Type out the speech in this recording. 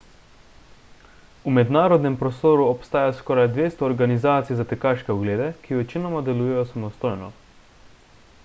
v mednarodnem prostoru obstaja skoraj 200 organizacij za tekaške oglede ki večinoma delujejo samostojno